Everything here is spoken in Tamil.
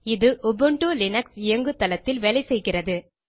இது உபுண்டு லினக்ஸ் இயங்குதளத்தில் வேலை செய்கிறது